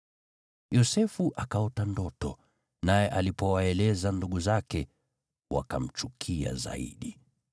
Yosefu akaota ndoto, naye alipowaeleza ndugu zake, wakamchukia zaidi.